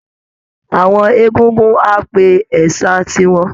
Àwọn egungun á pe ẹ̀sà tiwọn